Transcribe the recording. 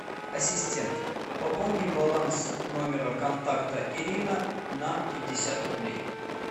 ассистент пополни баланс номера контакта ирина на пятьдесят рублей